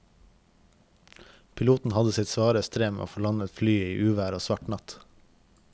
Piloten hadde sitt svare strev med å få landet flyet i uvær og svart natt.